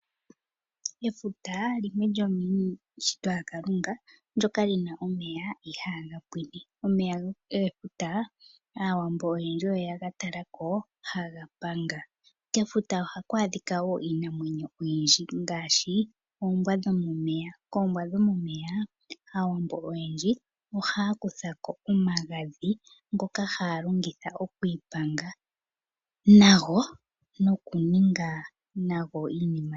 Efuta limwe lyomiishitwa yaKalunga ndyoka li na omeya ihaaga pwine. Omeya gefuta Aawambo oye ga tala ko haga panga. Kefuta ohaku adhika wo iinamwenyo oyindji ngaashi oombwa dhomomeya. Koombwa dhomomeya Aawambo oyendji ohaa kutha ko omagadhi ngoka haa longitha okwiipanga nago nokuninga nago iinima.